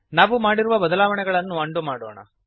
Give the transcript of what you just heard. ನಾವು ಮಾಡಿರುವ ಬದಲಾವಣೆಗಳನ್ನು ಉಂಡೋ ಮಾಡೋಣ